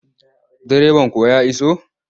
Direban kuwa ya iso?